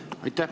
Aitäh!